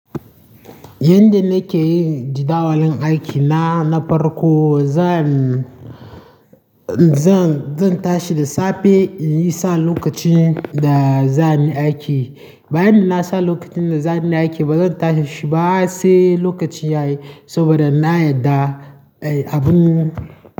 Yanda nake yi jadawalin aikina na farko zan, zan, zan tashi da safe in yi sa lokacin da za ni aiki. Bayan da na sa lokacin da za ni aiki bazan tashi ba sai lokaci yayi saboda na yarda, ai abun.